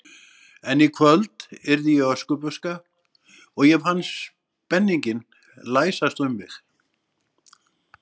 En í kvöld yrði ég Öskubuska og ég fann spenninginn læsast um mig.